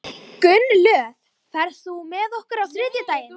Gunnlöð, ferð þú með okkur á þriðjudaginn?